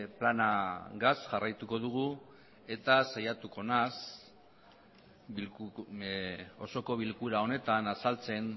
planagaz jarraituko dugu eta saiatuko naiz osoko bilkura honetan azaltzen